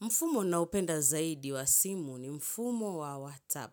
Mfumo naupenda zaidi wa simu ni mfumo wa WhatsApp.